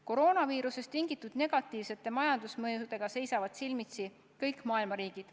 Koroonaviirusest tulenenud negatiivsete majandusmõjudega seisavad silmitsi kõik maailma riigid.